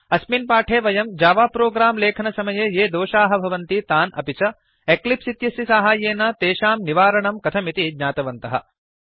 अस्मिन् पाठे वयम् जावा प्रोग्राम् लेखनसमये ये दोषाः भवन्ति तान् अपि च एक्लिप्स् इत्यस्य साहाय्येन तेषां निवारणं कथमिति ज्ञातवन्तः